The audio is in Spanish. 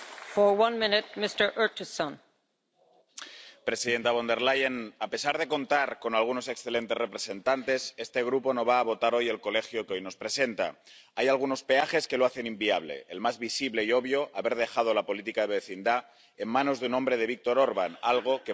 Señora presidenta. Señora Von der Leyen, a pesar de contar con algunos excelentes representantes, este Grupo no va a votar hoy el Colegio que hoy nos presenta. Hay algunos peajes que lo hacen inviable. El más visible y obvio, haber dejado la política de vecindad en manos de Viktor Orbán, algo que podemos pagar muy caro.